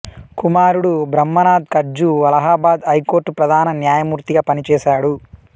కుమారుడు బ్రాహ్మణాథ్ కట్జూ అలహాబాద్ హైకోర్టు ప్రధాన న్యాయమూర్తిగా పనిచేశాడు